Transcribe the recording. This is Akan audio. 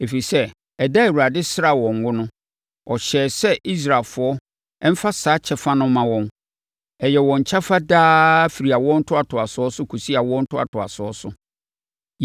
Ɛfiri sɛ, ɛda a Awurade sraa wɔn ngo no, ɔhyɛɛ sɛ Israelfoɔ mfa saa kyɛfa no mma wɔn; ɛyɛ wɔn kyɛfa daa daa firi awoɔ ntoatoasoɔ so kɔsi awoɔ ntoatoasoɔ so.